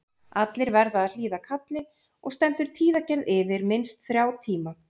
Allir verða að hlýða kalli og stendur tíðagerð yfir minnst þrjá tíma.